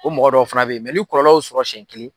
O mɔgɔ dɔw fana bɛ yen mɛ ni kɔlɔlɔ y'o sɔrɔ senɲɛ kelen,